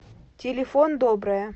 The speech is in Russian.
телефон добрая